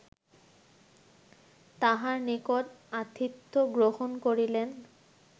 তাঁহার নিকট আতিথ্য গ্রহণ করিলেন